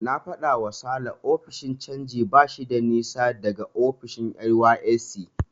Na faɗawa Sale ofishin canji bashi da nisa daga ofishin NYSC.